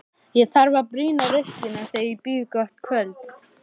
Ég þarf að brýna raustina þegar ég býð gott kvöld.